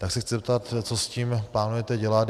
Tak se chci zeptat, co s tím plánujete dělat.